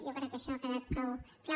jo crec que això ha quedat prou clar